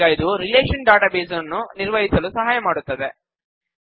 ಈಗ ಇದು relational database ನ್ನು ನಿರ್ವಹಿಸಲು ಸಹಾಯ ಮಾಡುತ್ತದೆ